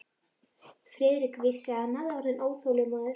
Friðrik vissi, að hann var orðinn óþolinmóður.